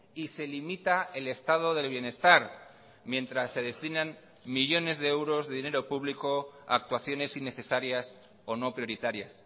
y se limita el estado del bienestar mientras se destinan millónes de euros de dinero público a actuaciones innecesarias o no prioritarias